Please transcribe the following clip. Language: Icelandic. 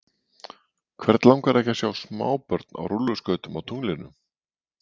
Hvern langar ekki að sjá smábörn á rúlluskautum á tunglinu?